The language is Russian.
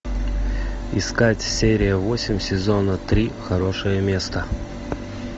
искать серия восемь сезона три хорошее место